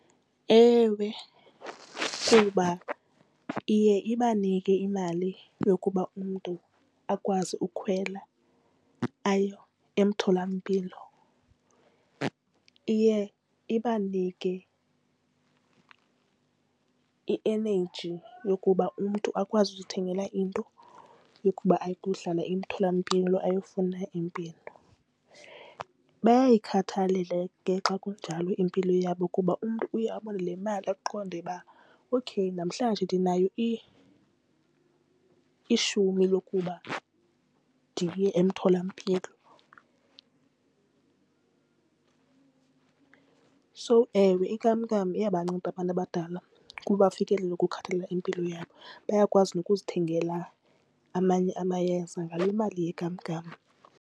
Ewe, kuba iye ibanike imali yokuba umntu akwazi ukhwela aye emtholampilo. Iye ibanike i-energy yokuba umntu akwazi ukuzithengela into yokuba ayohlala emtholampilo ayofuna impilo. Bayayikhathalela ke xa kunjalo impilo yabo kuba umntu uye abone le mali aqonde uba okay namhlanje ndinayo ishumi lokuba ndiye emtholampilo. So ewe inkamnkam iyabanceda abantu abadala ukuba bafikelele ukukhathalela impilo yabo bayakwazi nokuzithengela amanye amayeza ngale mali yenkamnkam.